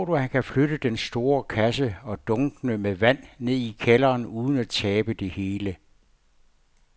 Tror du, at han kan flytte den store kasse og dunkene med vand ned i kælderen uden at tabe det hele?